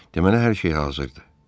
Deməli hər şey hazırdır.